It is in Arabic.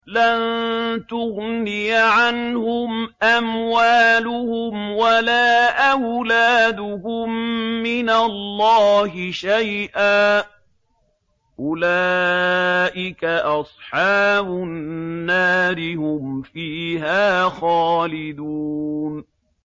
لَّن تُغْنِيَ عَنْهُمْ أَمْوَالُهُمْ وَلَا أَوْلَادُهُم مِّنَ اللَّهِ شَيْئًا ۚ أُولَٰئِكَ أَصْحَابُ النَّارِ ۖ هُمْ فِيهَا خَالِدُونَ